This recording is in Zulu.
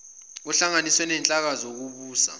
kuhlanganiswe nezinhlaka zokubusa